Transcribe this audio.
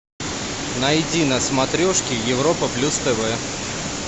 найди на смотрешке европа плюс тв